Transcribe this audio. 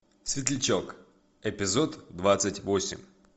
светлячок эпизод двадцать восемь